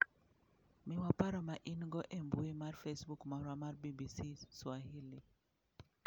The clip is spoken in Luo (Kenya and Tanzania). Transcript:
Miwa paro ma in go e mbui mar Facebook marwa mar BBC Swahili.